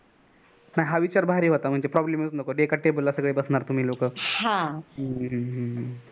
हा विचार भारी होता म्हणजे problem एका table ला सांगडे बसणार तुमि लोकहम्म